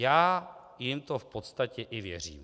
Já jim to v podstatě i věřím.